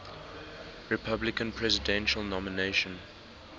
republican presidential nomination